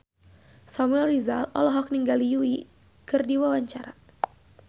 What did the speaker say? Samuel Rizal olohok ningali Yui keur diwawancara